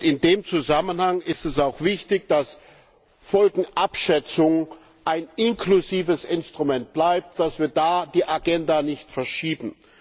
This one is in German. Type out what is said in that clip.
In dem Zusammenhang ist es auch wichtig, dass Folgenabschätzung ein inklusives Instrument bleibt, dass wir da die Agenda nicht verschieben.